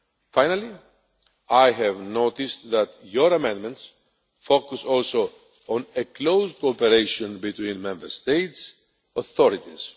Finally, I have noticed that Parliament's amendments focus also on close cooperation between Member States' authorities.